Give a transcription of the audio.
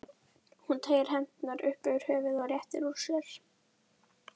Hún teygir hendurnar upp fyrir höfuðið og réttir úr sér.